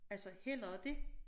Altså hellere dét